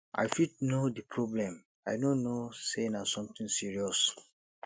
i fit know di problem i no know say na something serious